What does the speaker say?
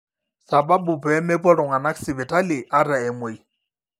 sababu pee mepuo iltung'anak sipitali ata emuei